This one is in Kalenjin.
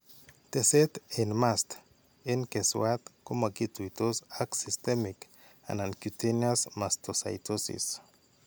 Teset en mast en keswat komakituytos ak systemic anan cutaneous mastocytosis.